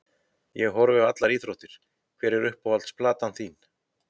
Ég horfi á allar íþróttir Hver er uppáhalds platan þín?